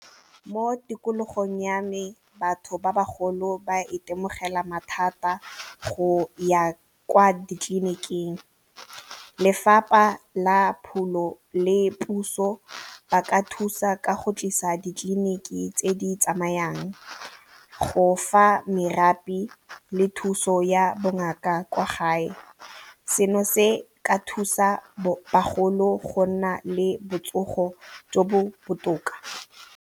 Mo tikologong ya me batho ba bagolo ba itemogela mathata go ya kwa ditleliniking. Lefapha la Pholo le puso ba ka thusa ka go tlisa ditleliniki tse di tsamayang, go fa merafe le thuso ya bongaka kwa gae, seno se ka thusa bogolo go nna le botsogo jo bo botoka.